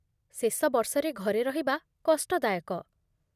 ଶେଷ ବର୍ଷରେ ଘରେ ରହିବା କଷ୍ଟ ଦାୟକ।